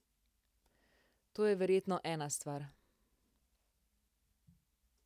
To je verjetno ena stvar.